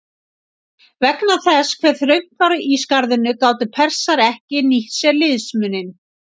Vegna þess hve þröngt var í skarðinu gátu Persar ekki nýtt sér liðsmuninn.